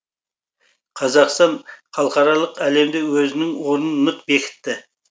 қазақстан халықаралық әлемде өзінің орнын нық бекітті